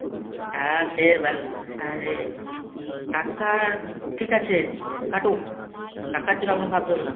হ্যাঁ সের আরে টাকার ঠিক আছে কাটুক। টাকার জন্য আপনাকে ভাবতে হবে না।